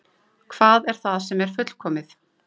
Hvað er það sem er fullkomið?